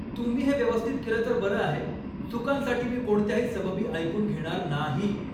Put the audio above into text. तुम्ही हे व्यवस्थित केलं तर बरं आहे. चुकांसाठी मी कोणत्याही सबबी ऐकून घेणार नाही.